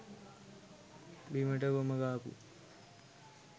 බිමට ගොම ගාපු,